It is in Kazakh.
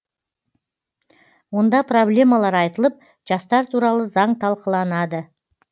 онда проблемалар айтылып жастар туралы заң талқыланады